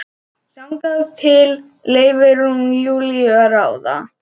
Þangað til leyfir hún Júlíu að ráða.